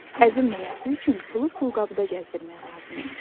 Əzilməməsi üçün pulu pulqabıda gəzdirmək lazımdır.